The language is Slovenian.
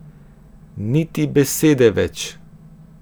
Niti besede več!